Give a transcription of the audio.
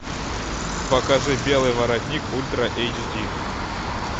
покажи белый воротник ультра эйч ди